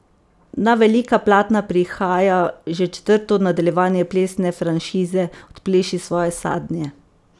Na velika platna prihaja že četrto nadaljevanje plesne franšize Odpleši svoje sanje.